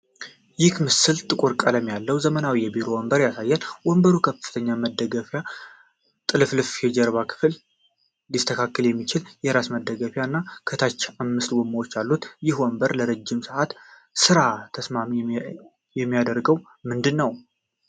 ይህ ምስል ጥቁር ቀለም ያለው ዘመናዊ የቢሮ ወንበር ያሳያል። ወንበሩ ከፍተኛ መደገፊያ፣ ጥልፍልፍ የጀርባ ክፍል፣ ሊስተካከል የሚችል የራስ መደገፊያ፣ ና ከታች አምስት ጎማዎች አሉት፤ ይህ ወንበር ለረጅም ሰዓታት ሥራ ተስማሚ የሚያደርገው ምንድን ነው?